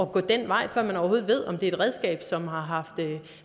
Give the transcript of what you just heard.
gå den vej før man overhovedet ved om det er et redskab som har